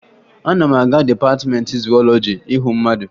Ana m aga dịpatịmeentị zuwọlọji ịhụ mmadụ